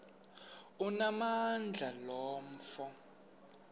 onamandla lo mfo